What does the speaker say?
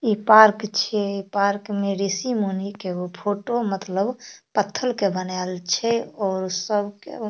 इ पार्क छे पार्क में ऋषिमुनि के एगो फोटो मतलब पत्थल के बनायल छे और सब के --